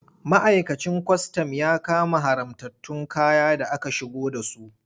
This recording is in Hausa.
Ma'aikacin kwastam ya kama haramtattun kaya da aka shigo da su.